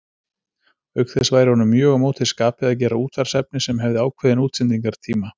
Auk þess væri honum mjög á móti skapi að gera útvarpsefni sem hefði ákveðinn útsendingartíma.